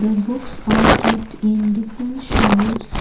The books are kept in different shelves.